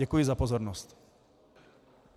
Děkuji za pozornost.